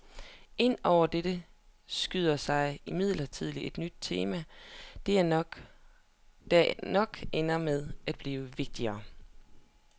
Ind over dette skyder sig imidlertid et nyt tema, der nok ender med at blive vigtigere.